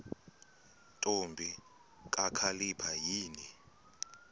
ntombi kakhalipha yini